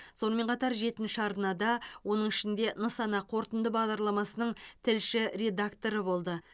сонымен қатар жетінші арнада оның ішінде нысана қорытынды бағдарламасының тілші редакторы болды